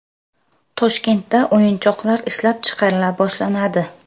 Toshkentda o‘yinchoqlar ishlab chiqarila boshlanadi.